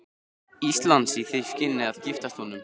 Íslands í því skyni að giftast honum.